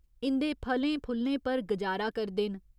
इं'दे फलें फुल्लें पर गजारा करदे न।